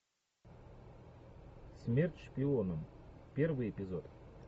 смерть шпионам первый эпизод